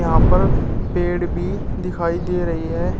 यहां पर पेड़ भी दिखाई दे रही है।